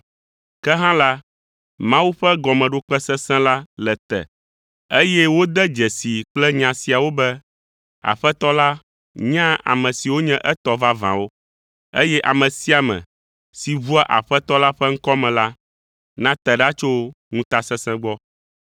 Ke hã la, Mawu ƒe gɔmeɖokpe sesẽ la le te, eye wode dzesii kple nya siawo be, “Aƒetɔ la nyaa ame siwo nye etɔ vavãwo,” eye, “Ame sia ame si ʋua Aƒetɔ la ƒe ŋkɔ me la, nate ɖa tso ŋutasesẽ gbɔ.”